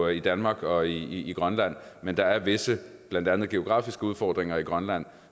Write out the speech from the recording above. i danmark og i grønland men der er visse blandt andet geografiske udfordringer i grønland